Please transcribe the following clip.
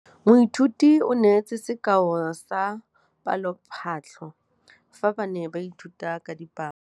Moithuti o neetse sekaô sa palophatlo fa ba ne ba ithuta dipalo.